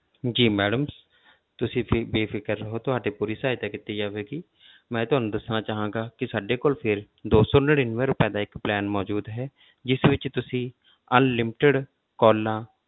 ਜੀ madam ਤੁਸੀਂ ਬੇ~ ਬੇਫ਼ਿਕਰ ਰਹੋ ਤੁਹਾਡੀ ਪੂਰੀ ਸਹਾਇਤਾ ਕੀਤੀ ਜਾਵੇਗੀ ਮੈਂ ਤੁਹਾਨੂੰ ਦੱਸਣਾ ਚਾਹਾਂਗਾ ਕਿ ਸਾਡੇ ਕੋਲ ਫਿਰ ਦੋ ਸੌ ਨੜ੍ਹਿਨਵੇਂ ਰੁਪਏ ਦਾ ਇੱਕ plan ਮੌਜੂਦ ਹੈ ਜਿਸ ਤੁਸੀਂ unlimited calls